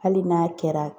Hali n'a kɛra